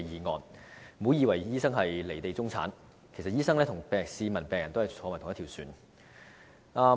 大家不要以為醫生是"離地"中產，其實醫生也與市民和病人同坐一條船。